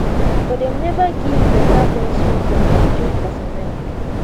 but dem neva give beta punishment on military personnel